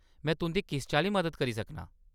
में तुंʼदी किस चाल्ली मदद करी सकनां?